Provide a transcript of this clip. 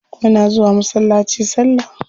Muna zuwa masallaci salla.